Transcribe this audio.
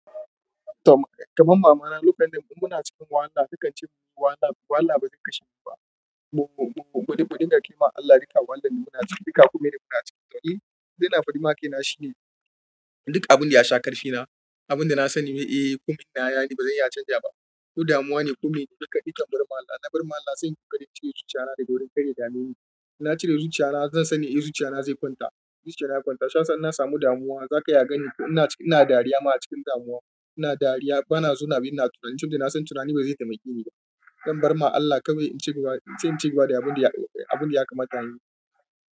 Kaman mamana lokacin da muna cikin wahala takan ce munyi wahala wahala ba zai kashe ni ba. Gudu, gudun da kaima Allah, duka wahalan da muna ciki duka kuma ina muna ciki. To, ita yana faɗi ma kaina shine duk abunda yasha ƙarfina, abunda nasani, eh, kuma ina yana ba zan iya canza ba. Ko damuwa ne ko mene, duka, dukan barma Allah. Na barma Allah sai ƙoƙarin cire zuciya na da wurin karya damuni. Na cire zuciya na, zan sani, eh, zuciya na zai kwanta. Zuciya na kwanta. Sha'awar nasamu damuwa, zaka iya gani ko ina, ina dariya ma a cikin damuwa. Ina dariya, bana zauna binna tunani, tunani na san tunani ba zai taimake ni ba. Zan barma Allah kawai in ce ba, in ce in ce ba da abun da ya, abun da ya kamata yin.